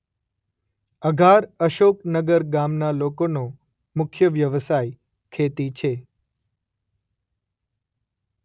અઘાર અશોકનગર ગામના લોકોનો મુખ્ય વ્યવસાય ખેતી છે.